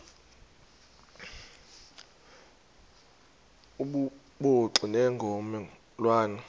obubuxoki ngomme lwane